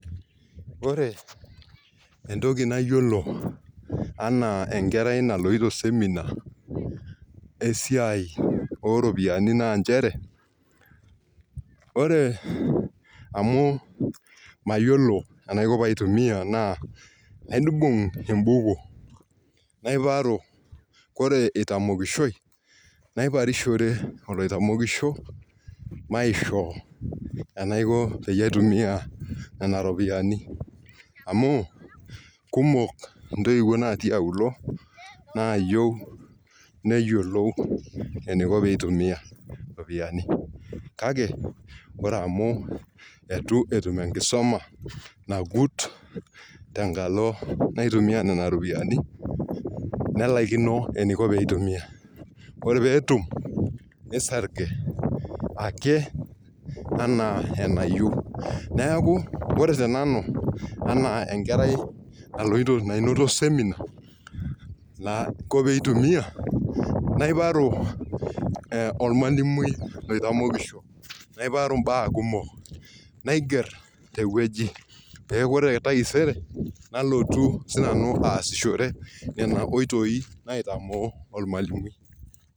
Ore. entok nayiolo anaa enkerai naloito semina esiai oo ropiyiani naa nchere. ore amu mayiolo enaiko pee itumie naibung ebuku, ore itaparishoi, naiparishire olaitamokisho, enaiko peyiee aitumia Nena ropiyiani. amu kumok ntoiwuo natii auluo. naayieu neyiolou, eniko pee itumia iropiyiani. kake ore amu, eitu etum enkisuma nagut. tenkalo naitumia Nena ropiyiani. nelaikino eneiko pee itumia. ore peetum nisarge. ake anaa enayieu. neeku ore tenanu anaa enkarei naloito semina enaiko pee itumia. naipatu olmalimui loitamokisho. naiparu mbaa kumok. naiger te wueji. ore taisere nalotu sii nanu aasishore Nena oitoi naitamoo olmalimui